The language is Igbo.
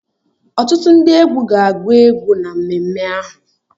Ọtụtụ ndị egwu ga-agú egwu na mmemme ahụ